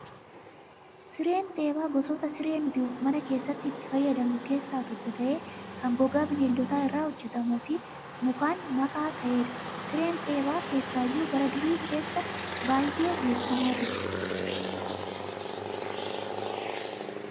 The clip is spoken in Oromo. Sireen teephaa gosoota siree nuti mana keessatti itti fayyadamnu keessaa tokko ta'ee kan gogaa bineeldotaa irraa hojjatamuu fi mukaan makaa ta'edha. Sireen teephaa keessaayyuu bara durii keessa baay'ee beekamaa ture.